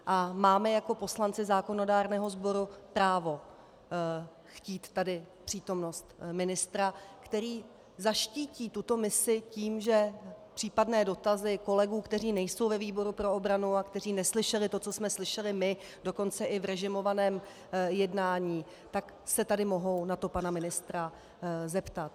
A máme jako poslanci zákonodárného sboru právo chtít tady přítomnost ministra, který zaštítí tuto misi tím, že případné dotazy kolegů, kteří nejsou ve výboru pro obranu a kteří neslyšeli to, co jsme slyšeli my, dokonce i v režimovaném jednání, tak se tady mohou na to pana ministra zeptat.